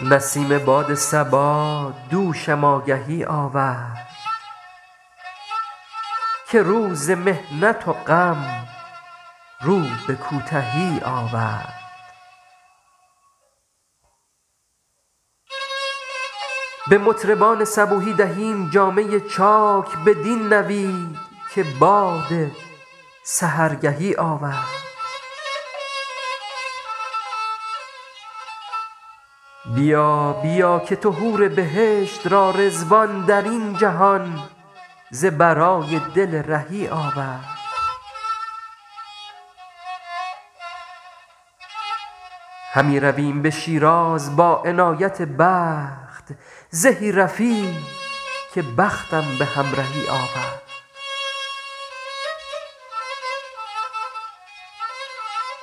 برید باد صبا دوشم آگهی آورد که روز محنت و غم رو به کوتهی آورد به مطربان صبوحی دهیم جامه چاک بدین نوید که باد سحرگهی آورد بیا بیا که تو حور بهشت را رضوان در این جهان ز برای دل رهی آورد همی رویم به شیراز با عنایت دوست زهی رفیق که بختم به همرهی آورد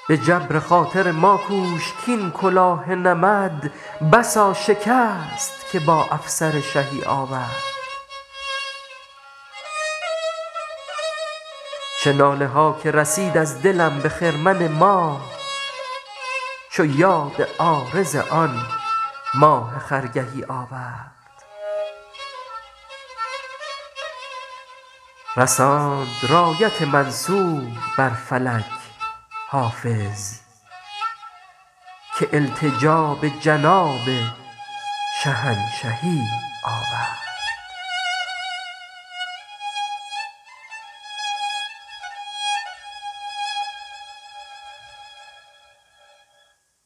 به جبر خاطر ما کوش کـ این کلاه نمد بسا شکست که با افسر شهی آورد چه ناله ها که رسید از دلم به خرمن ماه چو یاد عارض آن ماه خرگهی آورد رساند رایت منصور بر فلک حافظ که التجا به جناب شهنشهی آورد